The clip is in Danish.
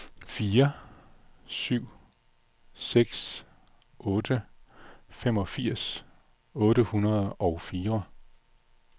fire syv seks otte femogfirs otte hundrede og fire